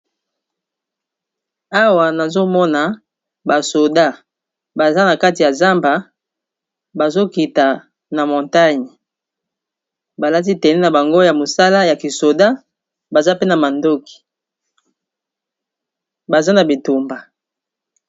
awa nazomona basoda baza na kati ya zamba bazokita na montagne balati tene na bango ya mosala ya kisoda baza pe na mandoki baza na bitumba